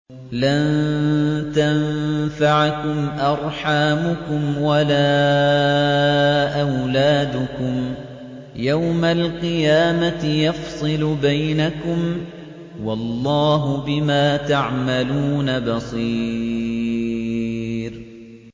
لَن تَنفَعَكُمْ أَرْحَامُكُمْ وَلَا أَوْلَادُكُمْ ۚ يَوْمَ الْقِيَامَةِ يَفْصِلُ بَيْنَكُمْ ۚ وَاللَّهُ بِمَا تَعْمَلُونَ بَصِيرٌ